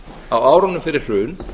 á árunum fyrir hrun